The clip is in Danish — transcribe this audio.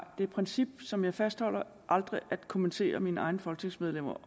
det princip som jeg fastholder aldrig at kommentere mine egne folketingsmedlemmer